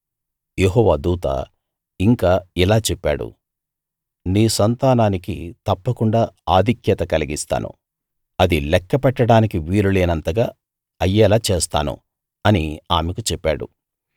యెహోవా దూత ఇంకా ఇలా చెప్పాడు నీ సంతానానికి తప్పకుండా ఆధిక్యత కలిగిస్తాను అది లెక్క పెట్టడానికి వీలు లేనంతగా అయ్యేలా చేస్తాను అని ఆమెకు చెప్పాడు